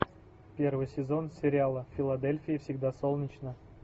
первый сезон сериала в филадельфии всегда солнечно